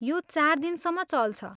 यो चार दिनसम्म चल्छ।